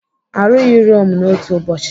Arụghị Rome n'otu ụbọchị.